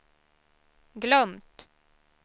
glömt